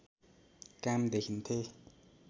काम देखिन्थे